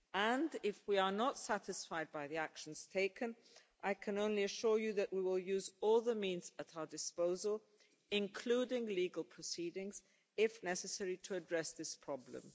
And if we are not satisfied by the actions taken, I can only assure you that we will use all the means at our disposal including legal proceedings if necessary to address this problem.